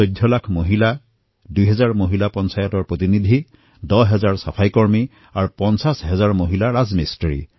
১৪ লাখ মহিলা ২ হাজাৰ মহিলা পঞ্চায়ত প্ৰতিনিধি ২৯ হাজাৰ জলসহী ১০ হাজাৰ মহিলা সচ্ছগ্ৰহী তথা ৫০ হাজাৰ মহিলা ৰাজমিস্ত্ৰী